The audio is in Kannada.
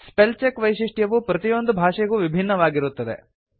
ಸ್ಪೆಲ್ ಚೆಕ್ ವೈಶಿಷ್ಟ್ಯವು ಪ್ರತಿಯೊಂದು ಭಾಷೆಗೂ ವಿಭಿನ್ನವಾಗಿರುತ್ತದೆ